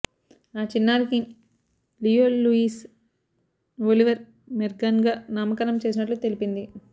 ఆ చిన్నారికి Leo Louis Oliver మోర్గాన్గా నామకరణం చేసినట్లు తెలిపింది